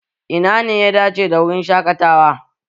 Ina ne ya dace da wurin shaƙatawa?